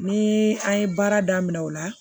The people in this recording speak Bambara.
Ni an ye baara daminɛ o la